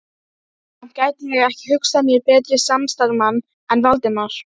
Samt gæti ég ekki hugsað mér betri samstarfsmann en Valdimar